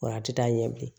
Wa a ti taa ɲɛ bilen